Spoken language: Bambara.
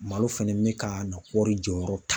Malo fɛnɛ bɛ ka na kɔɔri jɔyɔrɔ ta